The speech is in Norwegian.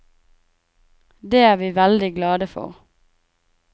Det er vi veldig glade for.